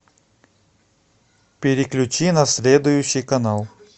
переключи на следующий канал